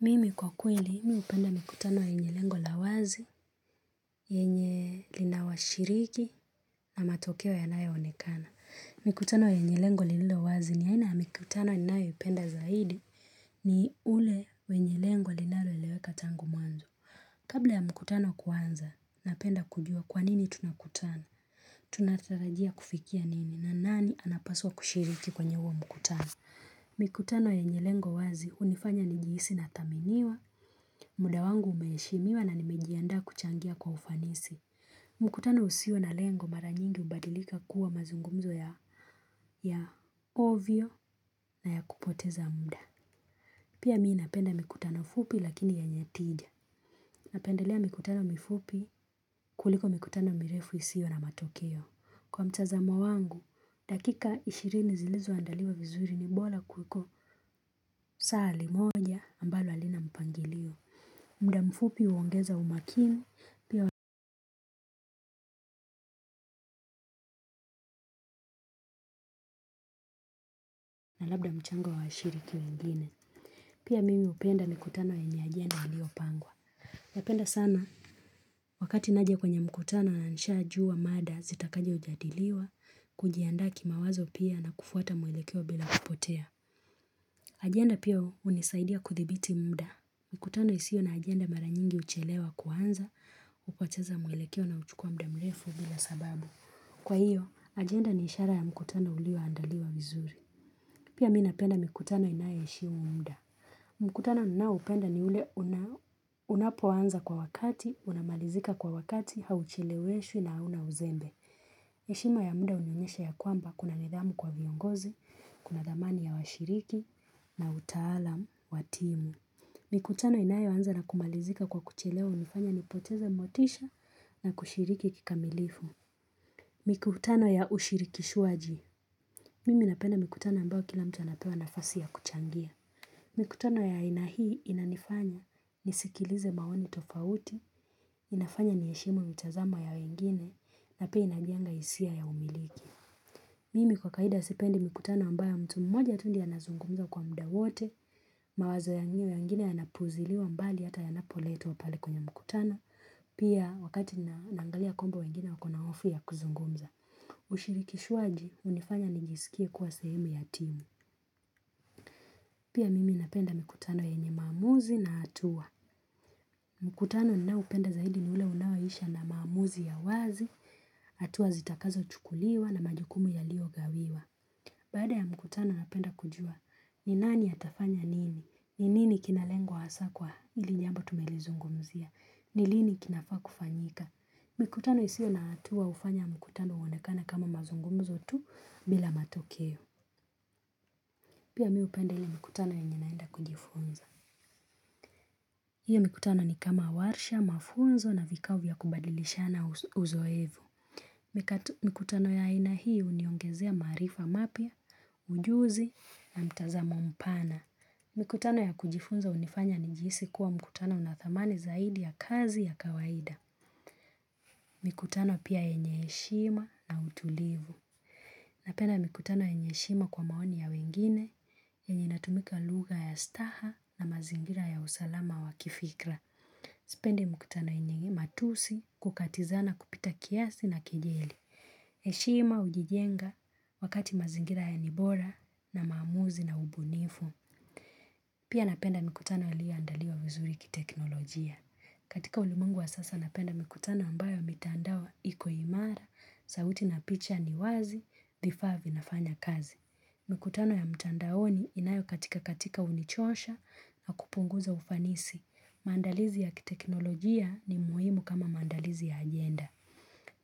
Mimi kwa kweli, mi hupenda mikutano yenye lengo la wazi, yenye linawashiriki na matokeo yanayo onekana. Mikutano yenye lengo lililowazi ni aina mikutano ninayoipenda zaidi ni ule wenye lengo linaloeleweka tangu mwanzo. Kabla ya mkutano kuanza, napenda kujua kwa nini tunakutana. Tunatarajia kufikia nini na nani anapaswa kushiriki kwenye huo mkutano. Mikutano yenye lengo wazi hunifanya ni nijiisi na thaminiwa, muda wangu umeshimiwa na nimejianda kuchangia kwa ufanisi. Mikutano usio na lengo mara nyingi hubadilika kuwa mazungumzo ya ovyo na ya kupoteza muda. Pia mi napenda mikutano fupi lakini yenye tija. Napendelea mikutano mifupi kuliko mikutano mirefu isio na matokeo. Kwa mtazamo wangu, dakika ishirini zilizoandaliwa vizuri ni bora kuliko saa li moja ambalo halina mpangilio. Muda mfupi huongeza umakini, pia labda mchango wa washiriki wengine. Pia mimi hupenda mikutano yenye ajenda iliopangwa. Napenda sana, wakati naja kwenye mkutano na nishajua mada zitakazo jadiliwa, kujianda kimawazo pia na kufuata mwelekeo bila kupotea. Ajenda pia hunisaidia kudhibiti muda. Mkutano isio na agenda mara nyingi huchelewa kuanza, hupoteza mwelekeo na kuchukua muda mrefu bila sababu. Kwa hiyo, agenda ni ishara ya mkutano ulioandaliwa vizuri. Pia mi napenda mikutano inaye heshimu muda. Mkutano ninaopenda ni ule unapoanza kwa wakati, unamalizika kwa wakati, haucheleweshwi na huna uzembe. Heshima ya muda hunionyesha ya kwamba kuna nidhamu kwa viongozi, kuna thamani ya washiriki na utaalamu, wa timu. Mikutano inayoanza na kumalizika kwa kuchelewa hunifanya nipoteze motisha na kushiriki kikamilifu Mikutano ya ushirikishwaji Mimi napenda mikutano ambayo kila mtu anapewa nafasi ya kuchangia Mikutano ya aina hii inanifanya nisikilize maoni tofauti inafanya ni heshimu mitazamo ya wengine na pia inajenga hisia ya umiliki Mimi kwa kawaida sipendi mkutano ambayo mtu mmoja tu ndio anazungumza kwa muda wote mawazo ya wengine yanapuziliwa mbali hata wanapoletwa wa pale kwenye mkutano pia wakati nina angalia kwamba wengine wakona hofu ya kuzungumza ushirikishwaji hunifanya nijisikie kuwa sehemu ya timu pia mimi napenda mikutano yenye maamuzi na hatua mkutano ninaopenda zaidi ni ule unaoisha na maamuzi ya wazi hatua zitakazochukuliwa na majukumu yalio gawiwa baada ya mkutano napenda kujua ni nani atafanya nini ni nini kinalengwa hasa kwa ili jambo tumelizungumzia. Ni lini kinafaa kufanyika. Mikutano isio na hatua hufanya mkutano uonekana kama mazungumzo tu bila matokeo. Pia mi hupenda ile mikutano yenye naenda kujifunza. Hiyo mikutano ni kama warsha, mafunzo na vikao vya kubadilishana uzoevu. Mikutano ya aina hii huniongezea maarifa mapya, ujuzi, na mtazamo mpana. Mikutano ya kujifunza hunifanya nijihisi kuwa mkutano unathamani zaidi ya kazi ya kawaida. Mikutano pia yenye heshima na utulivu. Napenda mikutano yenye heshima kwa maoni ya wengine, yenye natumika lugha ya staha na mazingira ya usalama wa kifikra. Sipende mkutano yenye matusi kukatizana kupita kiasi na kejeli. Heshima hujijenga wakati mazingira yenye bora na maamuzi na ubunifu. Pia napenda mikutano yalioandaliwa vizuri kiteknolojia. Katika ulimwengu wa sasa napenda mikutano ambayo mitandao iko imara, sauti na picha ni wazi, vifaa vinafanya kazi. Mikutano ya mtandaoni inayo katika katika hunichosha na kupunguza ufanisi. Maandalizi ya kiteknolojia ni muhimu kama maandalizi ya ajenda.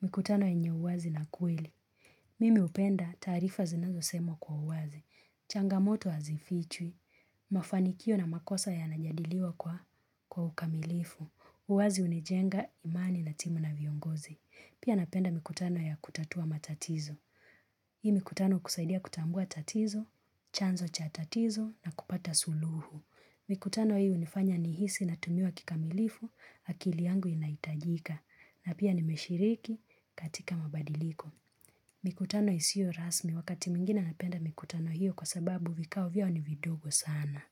Mkutano yenye uwazi na kweli. Mimi hupenda taarifa zinazosemwa kwa uwazi, changamoto hazifichwi, mafanikio na makosa yanajadiliwa kwa ukamilifu, uwazi hunijenga imani na timu na viongozi. Pia napenda mikutano ya kutatua matatizo. Hii mikutano kusaidia kutambua tatizo, chanzo cha tatizo na kupata suluhu. Mikutano hii unifanya nihisi natumiwa kikamilifu akili yangu inahitajika na pia nimeshiriki katika mabadiliko. Mikutano isio rasmi wakati mwingine napenda mikutano hio kwa sababu vikao vyao ni vidogo sana.